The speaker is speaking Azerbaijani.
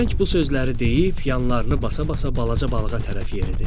Xərçəng bu sözləri deyib yanlarını basa-basa balaca balığa tərəf yeridi.